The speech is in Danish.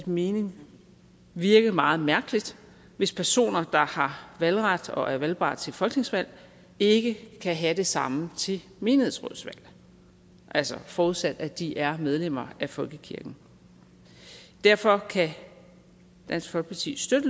mening virke meget mærkeligt hvis personer der har valgret og er valgbare til folketingsvalg ikke kan have det samme til menighedsrådsvalg altså forudsat at de er medlemmer af folkekirken derfor kan dansk folkeparti støtte